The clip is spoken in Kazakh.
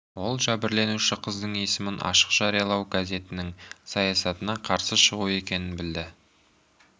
ол жәбірленуші қыздың есімін ашық жариялау газетінің саясатына қарсы шығу екенін білді